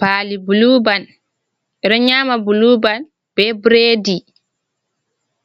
Pali buluban, ɓe ɗo nyama buluban be bredi,